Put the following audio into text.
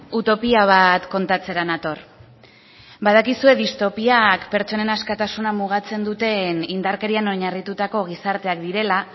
utopia bat kontatzera nator badakizue distopiak pertsonen askatasuna mugatzen duten indarkerian oinarritutako gizarteak direla